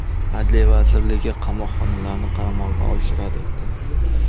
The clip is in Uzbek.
Adliya vazirligi qamoqxonalarni qaramog‘iga olishni rad etdi.